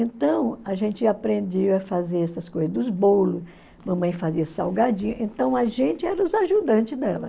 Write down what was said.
Então, a gente aprendia a fazer essas coisas dos bolos, mamãe fazia salgadinho, então a gente era os ajudantes dela.